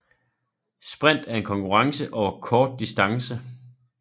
Sprint er en konkurrence over kort distance